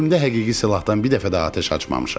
Ömrümdə həqiqi silahdan bir dəfə də atəş açmamışam.